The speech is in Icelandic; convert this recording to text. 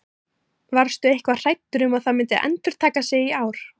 Varstu eitthvað hræddur um að það myndi endurtaka sig í ár?